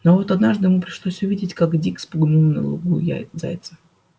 но вот однажды ему пришлось увидеть как дик спугнул на лугу зайца